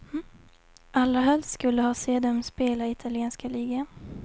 Allra helst skulle ha se dem spela i italienska ligan.